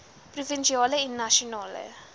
provinsiale en nasionale